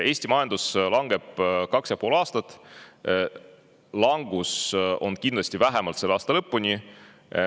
Eesti majandus on langenud kaks ja pool aastat ja see langus on kindlasti vähemalt selle aasta lõpuni.